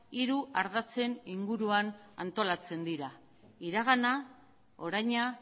hiru ardatzen inguruan antolatzen dira iragana oraina